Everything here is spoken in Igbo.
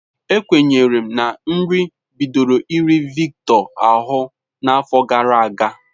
Ekwenyere m na nri bidoro iri Victor ahụ n'afọ gara aga.